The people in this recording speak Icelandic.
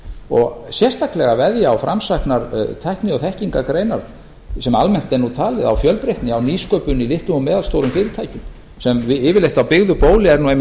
og sérstaklega veðja á framsæknar tækni og þekkingargreinar sem almennt er nú talið á fjölbreytni á nýsköpun í litlum og meðalstórum fyrirtækjum sem yfirleitt á byggðu bóli er